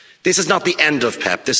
This is not the end of PEPP